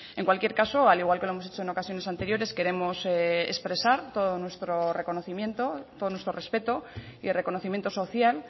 en cualquier caso al igual que lo hemos hecho en ocasiones anteriores queremos expresar todo nuestro reconocimiento todo nuestro respeto y reconocimiento social